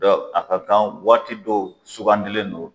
Dɔn a ka kan waati dɔw sugandilen don